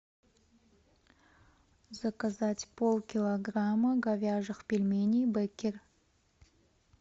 заказать полкилограмма говяжьих пельменей беккер